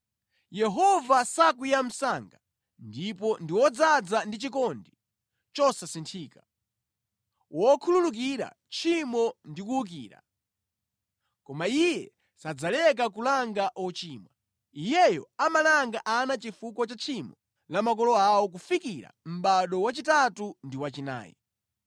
‘Yehova sakwiya msanga, ndipo ndi wodzaza ndi chikondi chosasinthika, wokhululukira tchimo ndi kuwukira. Koma Iye sadzaleka kulanga ochimwa. Iyeyo amalanga ana chifukwa cha tchimo la makolo awo kufikira mʼbado wachitatu ndi wachinayi.’